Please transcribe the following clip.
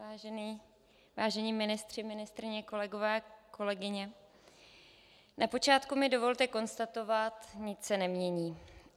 Vážení ministři, ministryně, kolegové, kolegyně, na počátku mi dovolte konstatovat: Nic se nemění.